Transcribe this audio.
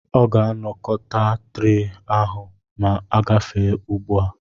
Ọ ga-anakọta tre ahụ ma ogafe ugbu a.